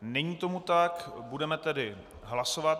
Není tomu tak, budeme tedy hlasovat.